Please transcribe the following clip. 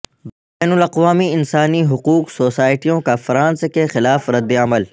بین الاقوامی انسانی حقوق سوسائٹیوں کا فرانس کے خلاف ردعمل